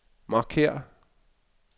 markér